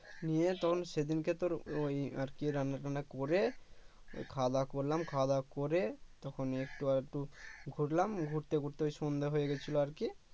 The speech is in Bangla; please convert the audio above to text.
নিয়ে তখন সেদিনকে তোর ওই আরকি রান্নাবান্না করে ওই খাওয়া দাওয়া করলাম, খাওয়া দাওয়া করে তখনই একটু একটু ঘুরলাম ঘুরতে ঘুরতে ওই সন্ধ্যা হয়ে গেছিলো আরকি